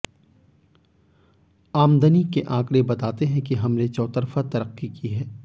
आमदनी के आंकड़े बताते हैं कि हमने चौतरफा तरक्की है